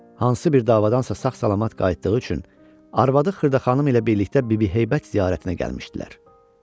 Hansı bir davadansa sağ-salamat qayıtdığı üçün arvadı Xırdaxanım ilə birlikdə Bibi Heybət ziyarətinə gəlmişdilər.